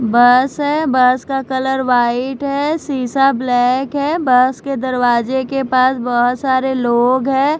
बस है बस का कलर वाइट है शीशा ब्लैक है बस के दरवाजे के पास बहुत सारे लोग हैं।